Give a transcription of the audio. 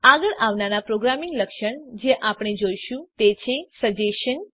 આગળ આવનાર પ્રોગ્રામિંગ લક્ષણ જે આપણે જોઈશું તે છે સજેશન